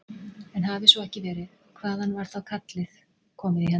En hafi svo ekki verið, hvaðan var kallið þá komið í hendur